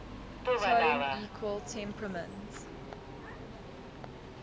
tone equal temperament